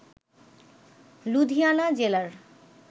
লুধিয়ানা জেলার